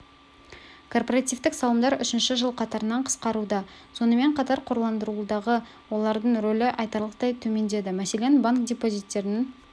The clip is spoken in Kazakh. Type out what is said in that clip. корпоративтік салымдар үшінші жыл қатарынан қысқаруда сонымен қатар қорландырудағы олардың рөлі айтарлықтай төмендеді мәселен банк депозиттерінің